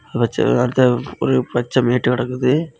வச்சா வாச்ள ஒரு பச்ச மேட்டு கடக்குது.